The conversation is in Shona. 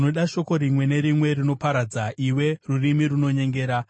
Unoda shoko rimwe nerimwe rinoparadza, iwe rurimi runonyengera!